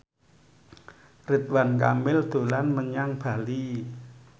Ridwan Kamil dolan menyang Bali